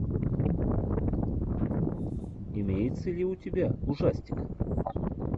имеется ли у тебя ужастик